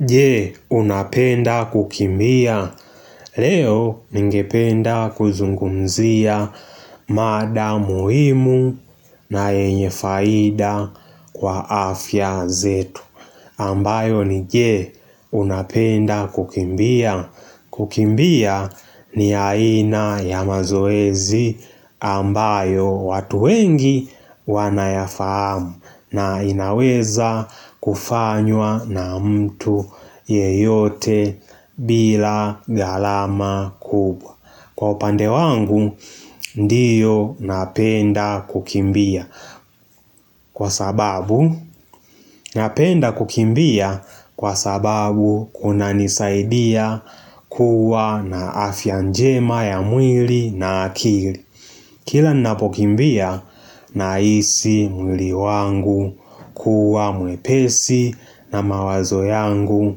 Je unapenda kukimbia leo ningependa kuzungumzia mada muhimu na yenye faida kwa afya zetu ambayo ni je unapenda kukimbia kukimbia ni aina ya mazoezi ambayo watu wengi wanayafahamu na inaweza kufanywa na mtu yeyote bila gharama kubwa Kwa upande wangu, ndiyo napenda kukimbia. Kwa sababu, napenda kukimbia kwa sababu kunanisaidia kuwa na afya njema ya mwili na akili. Kila ninapokimbia na hisi mwili wangu kuwa mwepesi na mawazo yangu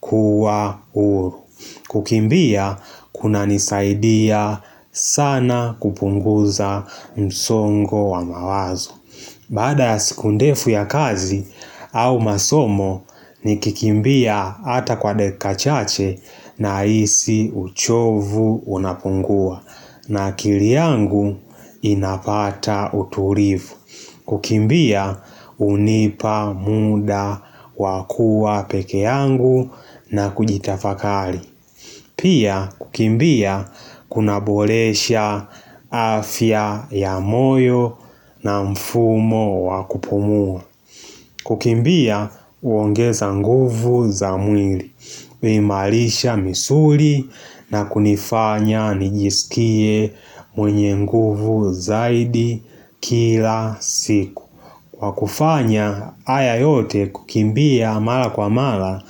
kuwa huru. Kukimbia kunanisaidia sana kupunguza msongo wa mawazo. Baada ya siku ndefu ya kazi au masomo nikikimbia ata kwa dakika chache na hisi uchovu unapungua. Na akili yangu inapata utulivu kukimbia hunipa muda wakuwa pekee yangu na kujitafakari Pia kukimbia kunaboresha afya ya moyo na mfumo wakupumua kukimbia huongeza nguvu za mwili kuimarisha misuri na kunifanya nijisikie mwenye nguvu zaidi kila siku Kwa kufanya haya yote kukimbia mara kwa mara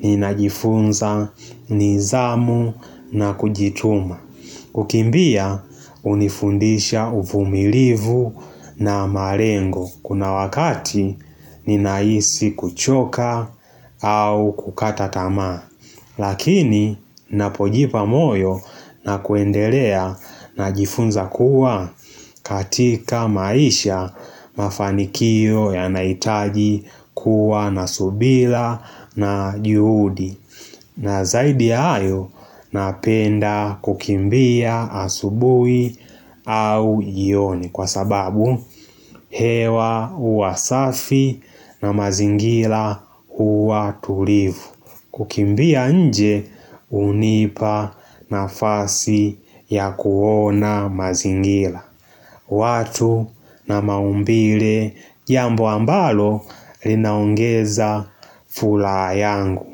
ninajifunza nizamu na kujituma kukimbia hunifundisha uvumilivu na malengo Kuna wakati ninahisi kuchoka au kukata tamaa Lakini napojipa moyo na kuendelea najifunza kuwa katika maisha mafanikio yanahitaji kuwa na subira na juhudi na zaidi ya hayo napenda kukimbia asubuhi au jioni kwa sababu hewa huwa safi na mazingira huwa tulivu kukimbia nje hunipa nafasi ya kuona mazingira watu na maumbile jambo ambalo linaongeza furaha yangu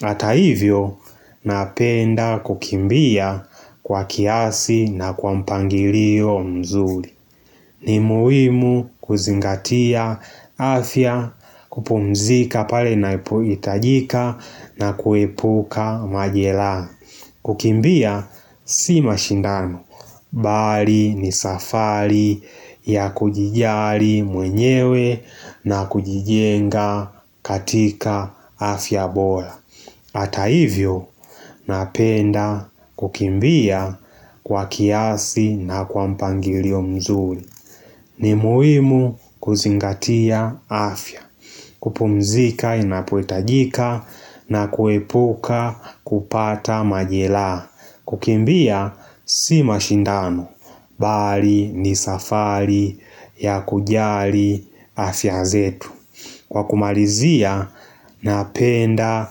Hata hivyo napenda kukimbia kwa kiasi na kwa mpangilio mzuri ni muhimu kuzingatia afya kupumzika pale ninapohitajika na kuepuka majeraha kukimbia si mashindano bali ni safari ya kujijali mwenyewe na kujijenga katika afya bora Hata hivyo napenda kukimbia kwa kiasi na kwa mpangilio mzuri ni muhimu kuzingatia afya, kupumzika inapohitajika na kuepuka kupata majeraha, kukimbia si mashindano, bali ni safari ya kujali afya zetu. Kwa kumalizia napenda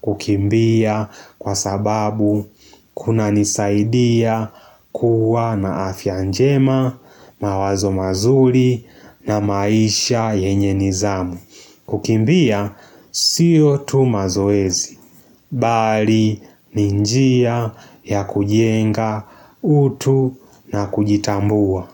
kukimbia kwa sababu kunanisaidia kuwa na afyanjema mawazo mazuri na maisha yenye ni zamu kukimbia siyo tu mazoezi, bali ni njia ya kujenga utu na kujitambua.